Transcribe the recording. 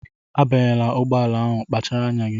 Abanyela ụgbọala ahụ! kpachara anya gị!